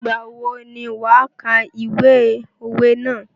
Ìgbà wo ni wà kà ìwé òwe ná?